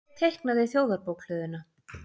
Hver teiknaði Þjóðarbókhlöðuna?